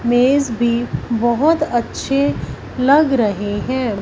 मेज भी बहुत अच्छे लग रहे हैं।